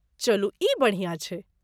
चलू ई बढ़िया छै।